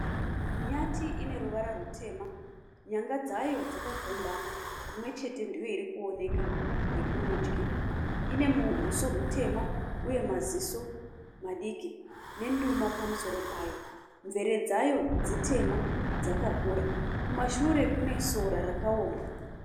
Nyati ine ruvara rutema. Nyanga dzayo dzakagombama, imwe chete ndiyo iri kuoneka yekurudyi. Ine huso hutema uye maziso madiki nenduma pamusoro payo, mvere dzayo dzitema, dzakakura Kumashure kwayo kune sora rakaoma.